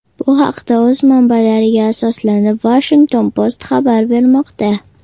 Bu haqda, o‘z manbalariga asoslanib, Washington Post xabar bermoqda.